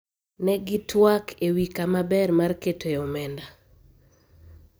ne gitwak ewi kama ber mar keto e omenda